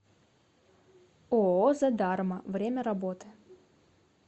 ооо задарма время работы